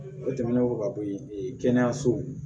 O tɛmɛnen kɔ ka bɔ yen kɛnɛyasow